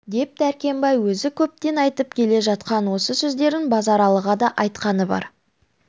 деп дәркембай өзі көптен айтып келе жатқан осы сөздерін базаралыға да айтқаны бар